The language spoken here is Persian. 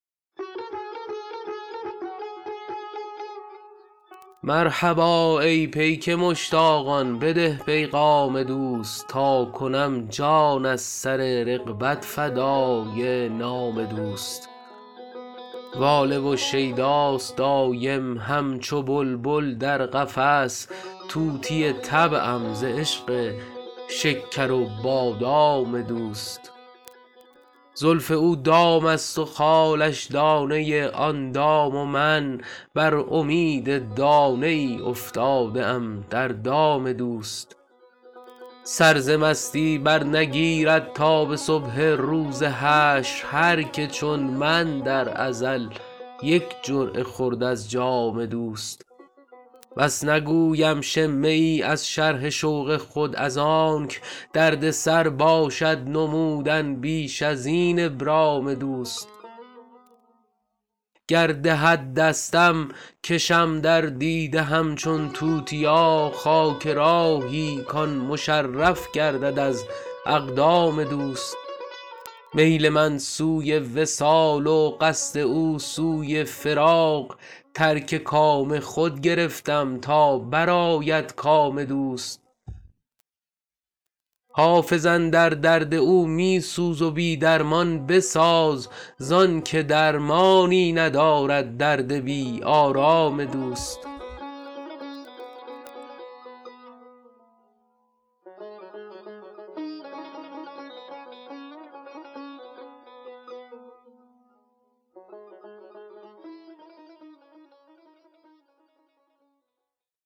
مرحبا ای پیک مشتاقان بده پیغام دوست تا کنم جان از سر رغبت فدای نام دوست واله و شیداست دایم همچو بلبل در قفس طوطی طبعم ز عشق شکر و بادام دوست زلف او دام است و خالش دانه آن دام و من بر امید دانه ای افتاده ام در دام دوست سر ز مستی برنگیرد تا به صبح روز حشر هر که چون من در ازل یک جرعه خورد از جام دوست بس نگویم شمه ای از شرح شوق خود از آنک دردسر باشد نمودن بیش از این ابرام دوست گر دهد دستم کشم در دیده همچون توتیا خاک راهی کـ آن مشرف گردد از اقدام دوست میل من سوی وصال و قصد او سوی فراق ترک کام خود گرفتم تا برآید کام دوست حافظ اندر درد او می سوز و بی درمان بساز زان که درمانی ندارد درد بی آرام دوست